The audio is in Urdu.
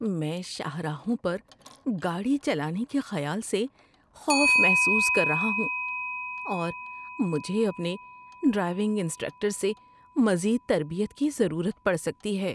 میں شاہراہوں پر گاڑی چلانے کے خیال سے خوف محسوس کر رہا ہوں، اور مجھے اپنے ڈرائیونگ انسٹرکٹر سے مزید تربیت کی ضرورت پڑ سکتی ہے۔